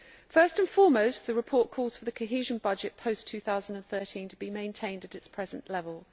First and foremost, the report calls for the cohesion budget post 2013 to be maintained at its present level.